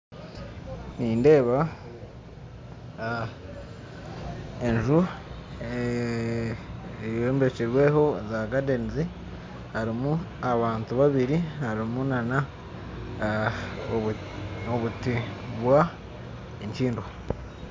Nindeba enju eyobekyirweho za gadenizi, harimu abantu babiri, harimu nana obuti bwa enkyindo.